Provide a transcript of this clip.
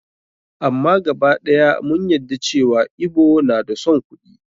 Amma gaba ɗaya mun yadda cewa Igbo na da son kuɗi.